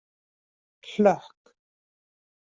Hlökk